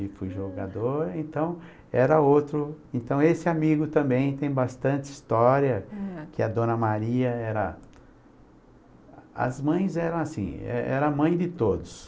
E fui jogador, então, era outro... Então, esse amigo também tem bastante história, que a Dona Maria era... As mães eram assim, é era a mãe de todos.